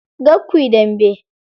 Kar kuyi dambe.